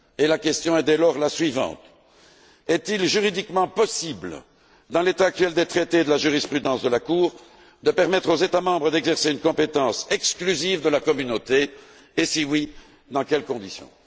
La question est dès lors la suivante est il juridiquement possible, dans l'état actuel des traités et de la jurisprudence de la Cour, de permettre aux États membres d'exercer une compétence exclusive de la Communauté, et si tel est le cas, dans quelles conditions?